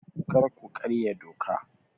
Kar ku karya doka!